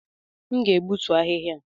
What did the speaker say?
M ga-egbutu ahịhịa